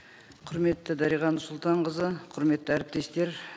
құрметті дариға нұрсұлтанқызы құрметті әріптестер